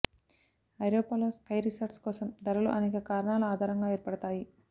ఐరోపాలో ski resorts కోసం ధరలు అనేక కారణాల ఆధారంగా ఏర్పడతాయి